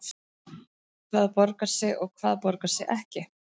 Hvað borgar sig og hvað borgar sig ekki?